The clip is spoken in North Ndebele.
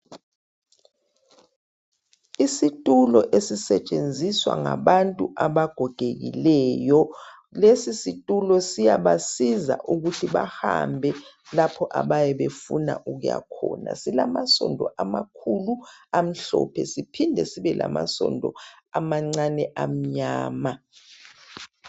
Isitulo esisetshenzizwa ngabantu abagogekileyo lesi situlo siyaba siza ukuthi bahambe lapho ababefuna ukuya khona silama sondo amakhulu amhlophe siphinde sibe lamasondo amancane amnyana.